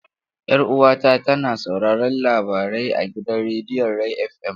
Yar uwata tana sauraron labarai a gidan rediyon Ray FM.